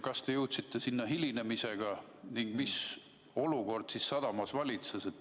Kas te jõudsite sinna hilinemisega ning mis olukord siis sadamas valitses?